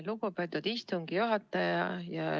Lugupeetud istungi juhataja!